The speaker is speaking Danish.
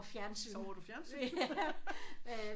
Sover du fjernsyn?